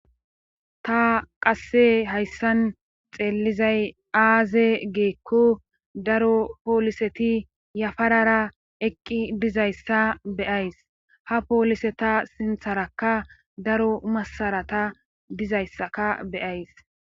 Ta qasse hayssan xeellizay aaze giikko daro pooliseti yafarara eqqi dizayssa beyays ha poolise ta sintharakka daro masarata dizayssaka be7ays.